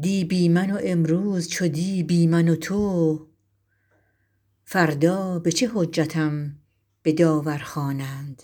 دی بی من و امروز چو دی بی من و تو فردا به چه حجتم به داور خوانند